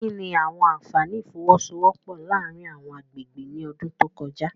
Kí ni àwọn àfààní ìfọwọ́sowọ́pọ̀ láàárín àwọn agbègbè ní ọdún tó kọjá?